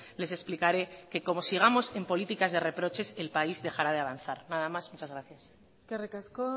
les explicaré que como sigamos en políticas de reproches el país dejará de avanzar nada más muchas gracias eskerrik asko